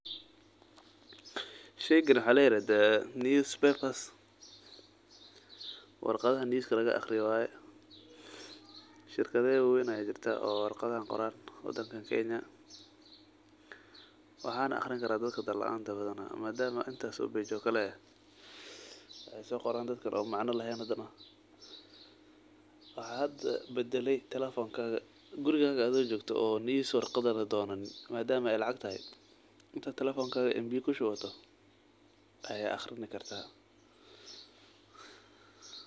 Sheygan waxa ladaha newspapers wa shirkada wararka bixiyo, shirkado wawen aya kuyala wadankan kenya waxana badana aqriyo dad dalaanta eeh madam warqado faro badan tahay. Waxa hada badalay telefonka oo adhigo guruga jogo inta lacag telefonka kushubato firsani karta.